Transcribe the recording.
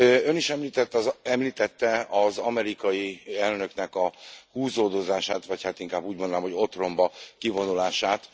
Ön is említette az amerikai elnöknek a húzódozását, vagy hát inkább úgy mondanám, hogy otromba kivonulását.